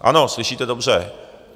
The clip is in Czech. Ano, slyšíte dobře.